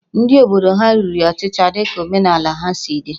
Ndị obodo ha riri ọchịcha dị ka omenala ha si chọọ